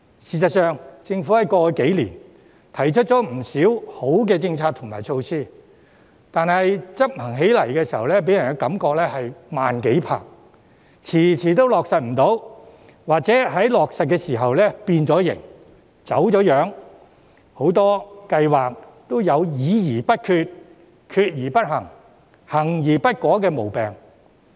事實上，政府過去數年提出了不少良好的政策和措施，但在執行方面卻給人"慢幾拍"的感覺，遲遲未能落實或在落實時已經"變形"、"走樣"，很多計劃也有"議而不決、決而不行、行而不果"的毛病。